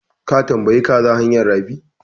Ka tambayi kaza hanyan rafi?